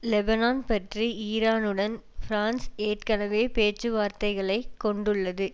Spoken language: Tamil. லெபனான் பற்றி ஈரானுடன் பிரான்ஸ் ஏற்கனவே பேச்சு வார்த்தைகளைக் கொண்டுள்ளது